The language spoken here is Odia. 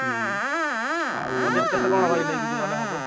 ହୁଁ ଆଉ ମତେ ଯୋଉ କେତେ କଣ ଭାଇ ନେଇକି ଗଲେ ହବ?